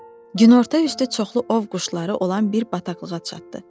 Günorta üstü çoxlu ov quşları olan bir bataqlığa çatdı.